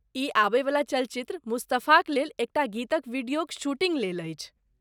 ई आबयवला चलचित्र 'मुस्तफा'क लेल एकटा गीतक वीडियोक शूटिँग लेल अछि।